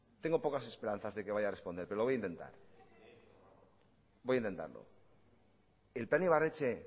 tengo pocas esperanzas de que vaya a responder pero lo voy a intentar voy a intentarlo el plan ibarretxe